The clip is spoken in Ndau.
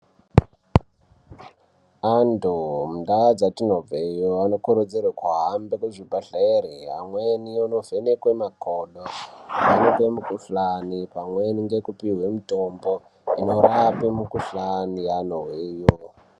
Antu mundaa dzatinobva iyo anokurudzirwa kuhambe muzvibhedhlera amweni anovhenekwa makodo ovhenekwa mikuhlani pamweni nekupihwa mitombo inorapa mikuhlani yanozwa iyo.